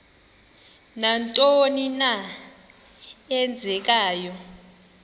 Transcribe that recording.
nantoni na eenzekayo